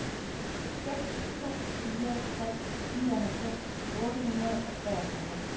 seks to fire tre nioghalvfems otte hundrede og treogfyrre